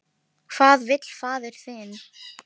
Hvað vill faðir þinn?